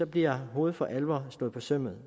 bliver hovedet for alvor slået på sømmet